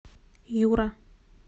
юра